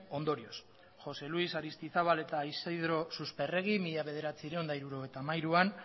ondorioz jose luis aristizabal eta isidro susperregi mila bederatziehun eta hirurogeita hamairuan